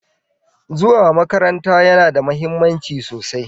Zuwa makaranta yana da mahimmanci sosai